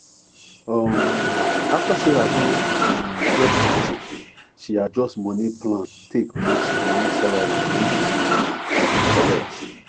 um after sarah don um get promotion she adjust money plan take match the new salary wey she dey um collect